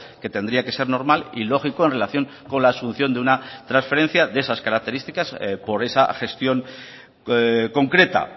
que tendría que ser normal y lógico en relación con la asunción de una transferencia de esas características por esa gestión concreta